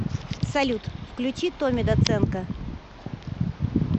салют включи томми доценко